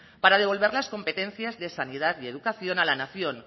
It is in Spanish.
para devolver las competencias de sanidad y educación a la nación